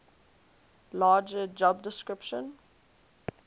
larger job description